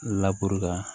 la